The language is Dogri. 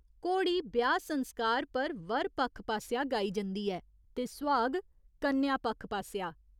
'घोड़ी' ब्याह् संस्कार पर वर पक्ख पासेआ गाई जंदी ऐ ते 'सुहाग' कन्या पक्ख पासेआ।